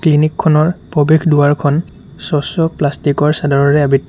clinic খনৰ প্ৰবেশ দুৱাৰখন স্বচ্ছ প্লাষ্টিক ৰ চাদৰেৰে আবৃ--